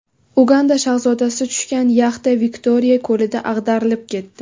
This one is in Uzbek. Uganda shahzodasi tushgan yaxta Viktoriya ko‘lida ag‘darilib ketdi.